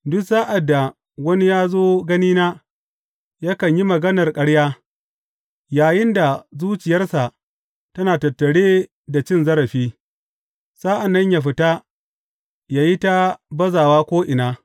Duk sa’ad da wani ya zo ganina, yakan yi maganar ƙarya, yayinda zuciyarsa tana tattare da cin zarafi; sa’an nan yă fita yă yi ta bazawa ko’ina.